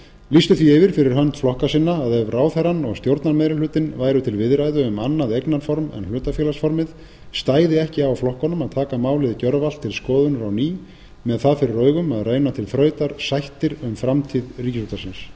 lýstu því yfir fyrir hönd flokka sinna að ef ráðherrann og stjórnarmeirihlutinn væru til viðræðu um annað eignarform en hlutafélagsformið stæði ekki á flokkunum að taka málið gjörvallt til skoðunar á ný með það fyrir augum að reyna til þrautar sættir um framtíð ríkisútvarpsins